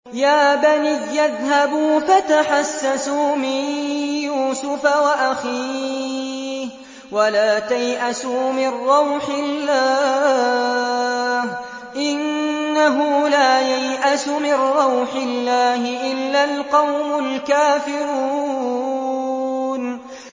يَا بَنِيَّ اذْهَبُوا فَتَحَسَّسُوا مِن يُوسُفَ وَأَخِيهِ وَلَا تَيْأَسُوا مِن رَّوْحِ اللَّهِ ۖ إِنَّهُ لَا يَيْأَسُ مِن رَّوْحِ اللَّهِ إِلَّا الْقَوْمُ الْكَافِرُونَ